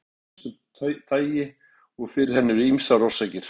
Fötlun getur verið af ýmsu tagi og fyrir henni eru ýmsar orsakir.